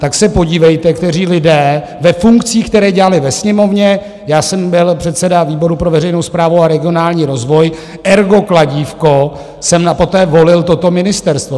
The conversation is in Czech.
Tak se podívejte, kteří lidé ve funkcích, které dělali ve Sněmovně - já jsem byl předseda výboru pro veřejnou správu a regionální rozvoj, ergo kladívko, jsem poté volil toto ministerstvo.